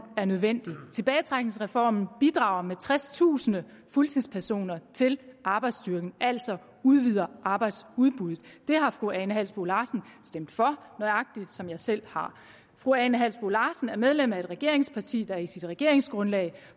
er nødvendig tilbagetrækningsreformen bidrager med tredstusind fuldtidspersoner til arbejdsstyrken altså udvider arbejdsudbuddet det har fru ane halsboe larsen stemt for nøjagtigt som jeg selv har fru ane halsboe larsen er medlem af et regeringsparti der i sit regeringsgrundlag